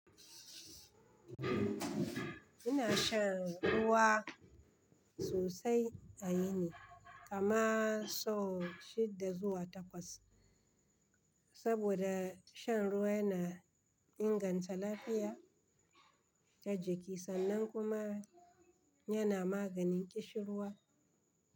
Ina shan ruwa sosai a yini, kama sau shidda zuwa takwas. Saboda shan ruwa yana inganta lafiya ta jiki sannan kuma yana maganin ƙishirwa.